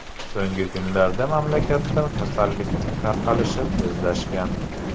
So‘nggi kunlarda mamlakatda kasallikning tarqalishi tezlashgan.